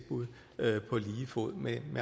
volumenen